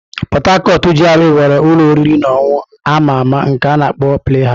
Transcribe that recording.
Port Harcourt GRA nwere ụlọ oriri na ọṅụṅụ a ma ama nke a na-akpọ "Play House".